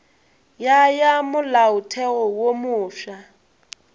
ya ya molaotheo wo mofsa